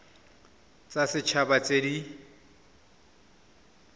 tsa set haba tse di